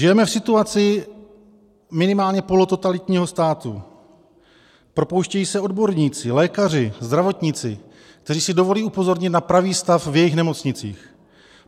Žijeme v situaci minimálně polototalitního státu, propouštějí se odborníci, lékaři, zdravotníci, kteří si dovolí upozornit na pravý stav v jejich nemocnicích.